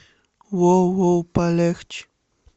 воу воу палехчэ